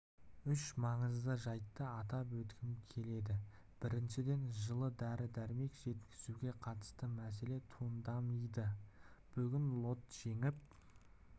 үш маңызды жайтты атап өткім келеді біріншіден жылы дәрі-дәрмек жеткізуге қатысты мәселе туындамйды бүгін лот жеңіп